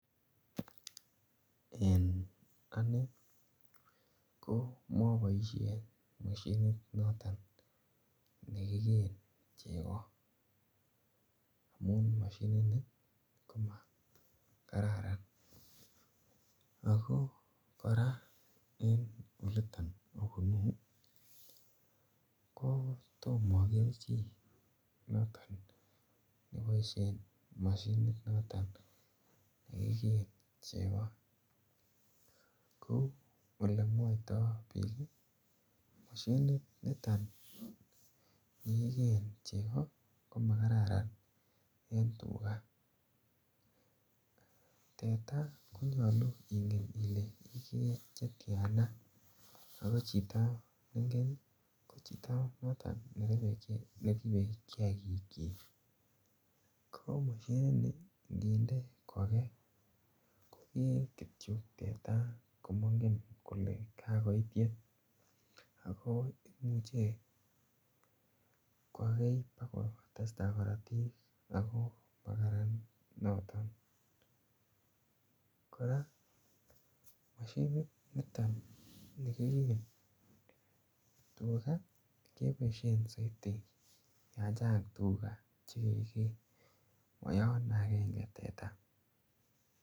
En ane ko mapaishen mosinit noton ne kikeen cheko amun mosinini ko makararan. Ako kora en olitan apunu ko toma aker chi noton nepaishen mosinit noton kikee cheko. Ko ole mwaitai pii i, ko mashininiton ne kikeen cheko ka m kararan en tuga. Teta konyalu ingen ile ilee chetian any ako chito ne ingen cho chito noton ne ingen ko chito noton neripe kiakiikyik. Ko mosinini nginde kokei kokee kityo teta komangen kole kakoit yetya. Ako imuchi kokei pa kotesta karatik ako makararan noton. Kora mosinit niton ni kikee tuga , kepaishen saidi ya chang' tuga che ke kee, ma yan agenge teta.